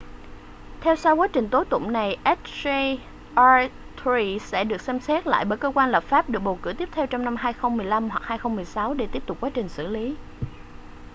theo sau quá trình tố tụng này hjr-3 sẽ được xem xét lại bởi cơ quan lập pháp được bầu cử tiếp theo trong năm 2015 hoặc 2016 để tiếp tục quá trình xử lý